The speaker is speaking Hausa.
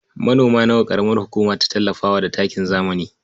Manoma nawa ƙaramar hukuma ta tallafa wa da takin zamani?